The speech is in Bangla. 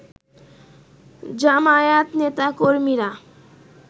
জামায়াত নেতাকর্মীরা